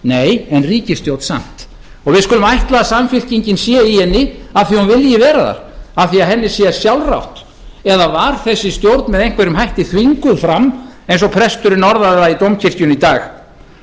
nei en ríkisstjórn samt og við skulum ætla að samfylkingin sé í henni af því að hún vilji vera þar af því að henni sé sjálfrátt eða var þessi stjórn með einhverjum hætti þvinguð fram eins og presturinn orðaði það í dómkirkjunni í dag